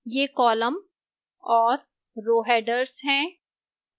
ये column और row headers हैं